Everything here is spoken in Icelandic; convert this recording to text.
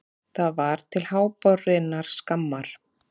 Það var til háborinnar skammar.